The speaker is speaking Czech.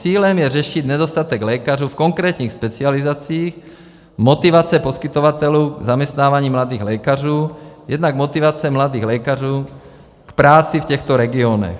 Cílem je řešit nedostatek lékařů v konkrétních specializacích, motivace poskytovatelů zaměstnávání mladých lékařů, jednak motivace mladých lékařů k práci v těchto regionech.